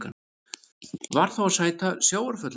Varð þá að sæta sjávarföllum.